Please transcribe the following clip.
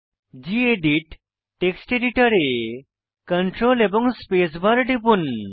gedit text এডিটরে CTRL এবং space bar টিপুন